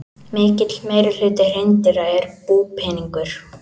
Mikill meirihluti hreindýra er búpeningur.